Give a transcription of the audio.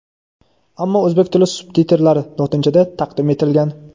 ammo O‘zbek tili subtitrlari (lotinchada) taqdim etilgan.